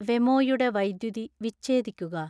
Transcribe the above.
വെമോയുടെ വൈദ്യുതി വിച്ഛേദിക്കുക